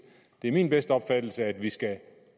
det er min bedste opfattelse at vi skal